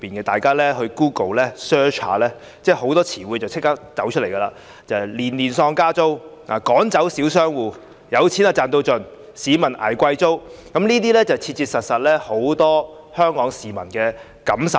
大家只要在 Google search 一下，便會找到很多以下詞彙："年年喪加租"、"趕走小商戶"、"有錢賺到盡"、"市民捱貴租"等，這些都是很多香港市民切切實實感受到的。